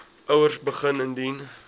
ouers begin indien